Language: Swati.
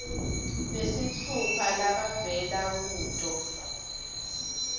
nesitfupha labavela kuto